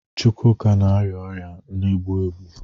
Chukwuka na-arịa ọrịa na-egbu egbu.